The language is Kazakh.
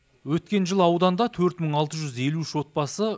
өткен жылы ауданда төрт мың алты жүз елу үш отбасы